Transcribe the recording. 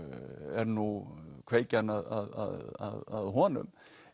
er nú kveikjan að honum